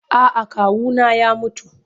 A'a kawuna ya mutu.